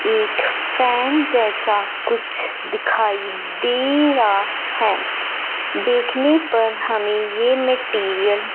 एक फैन जैसा कुछ दिखाई दे रहा हैं देखने पर हमें ये मटेरियल --